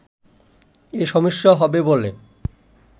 এ সমস্যা হবে বলে